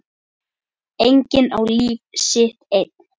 Enginn á líf sitt einn.